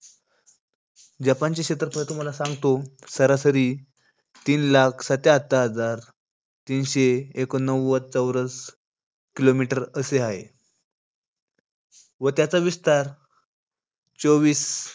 जपानचे क्षेत्रफळ तुम्हाला सांगतो, सरासरी तीन लाख सत्यातर हजार तीनशे एकोणनव्वद चौरस kilometer असे आहे. व त्याचा विस्तार चोवीस,